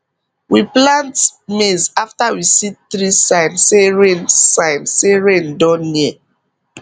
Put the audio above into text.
we plant maize after we see three sign say rain sign say rain don near